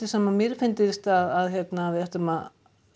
sem mér finnst að við ættum að